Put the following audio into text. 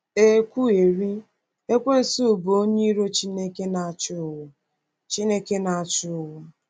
E kwuwerị, Ekwensu bụ́ onye iro Chineke, na-achị ụwa. Chineke, na-achị ụwa.